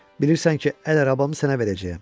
Bilirsən ki, əl arabamı sənə verəcəyəm.